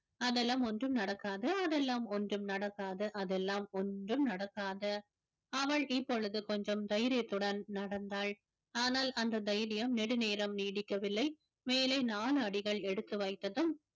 அதெல்லாம் ஒன்றும் நடக்காது அதெல்லாம் ஒன்றும் நடக்காது அதெல்லாம் ஒன்றும் நடக்காது அவள் இப்பொழுது கொஞ்சம் தைரியத்துடன் நடந்தாள் ஆனால் அந்த தைரியம் நெடுநேரம் நீடிக்கவில்லை மேலே நான்கு அடிகள் எடுத்து வைத்ததும்